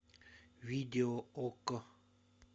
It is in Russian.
видео окко